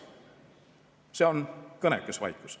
See on kõnekas vaikus.